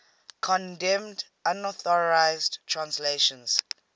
condemned unauthorized translations